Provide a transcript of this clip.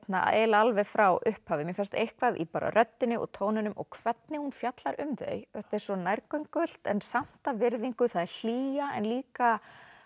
eiginlega alveg frá upphafi mér fannst eitthvað í röddinni og tóninum og hvernig hún fjallar um þau þetta er svo nærgöngult en samt af virðingu það er hlýja en líka